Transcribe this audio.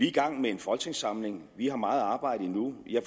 i gang med en folketingssamling vi har meget arbejde endnu jeg